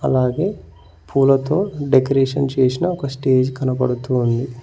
అలాగే పూలతో డెకరేషన్ చేసిన ఒక స్టేజ్ కనబడుతూ ఉంది.